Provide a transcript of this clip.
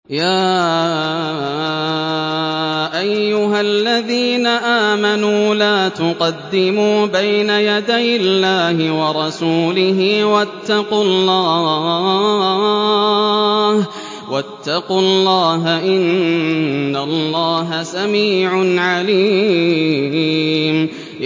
يَا أَيُّهَا الَّذِينَ آمَنُوا لَا تُقَدِّمُوا بَيْنَ يَدَيِ اللَّهِ وَرَسُولِهِ ۖ وَاتَّقُوا اللَّهَ ۚ إِنَّ اللَّهَ سَمِيعٌ عَلِيمٌ